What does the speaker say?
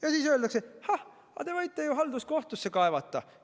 Ja siis öeldakse: ah, te võite ju halduskohtusse kaevata.